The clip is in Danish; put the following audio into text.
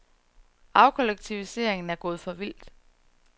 Afkollektiviseringen er gået for vidt.